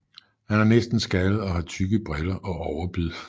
Han er næsten skaldet og har tykke briller og overbid